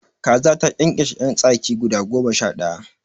Kaza ta ƙyanƙyashe yan tsaki guda goma sha daya